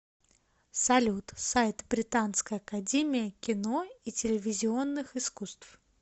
салют сайт британская академия кино и телевизионных искусств